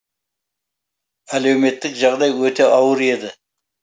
әлеуметтік жағдай өте ауыр еді